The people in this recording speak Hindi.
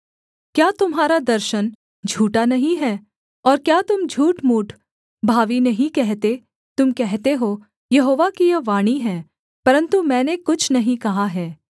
क्या तुम्हारा दर्शन झूठा नहीं है और क्या तुम झूठमूठ भावी नहीं कहते तुम कहते हो यहोवा की यह वाणी है परन्तु मैंने कुछ नहीं कहा है